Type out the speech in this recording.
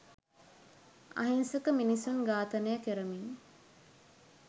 අහිංසක මිනිසුන් ඝාතනය කරමින්